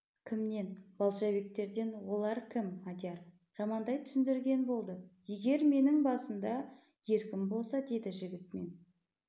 кімнен балшабектерден олар кім мадияр жамандай түсіндірген болды егер менің басымда еркім болса деді жігіт мен